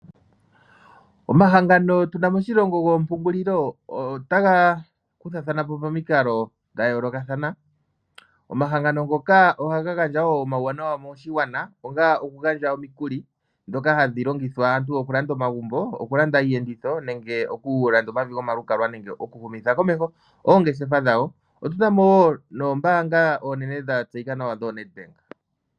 Omahangano tu na moshilongo goompungulilo otaga kuthathana po pomikalo dhayoolokathana. Omahangano ngoka ohaga gandja wo omawuwanawa moshigwana onga okugandja omikuli ndhoka hadhi longithwa okulanda omagumbo, okulanda iiyenditho nenge okulanda omavi gomalukalwa nenge okuhumitha komeho oongeshefa dhawo otu na mo wo noombanga oonene dhatseyika nawa dhoo Netbank.